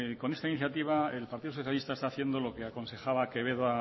con esta iniciativa el partido socialista está haciendo lo que aconsejaba quevedo